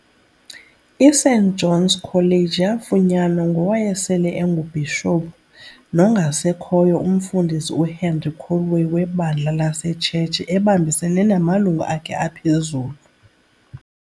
I-St. John's College yafunyanwa ngowayesele enguBhishophu, nongasekhoyo uMfundisi uHenry Callaway webandla laseTshetshi ebambisene namalungu akhe aphezulu.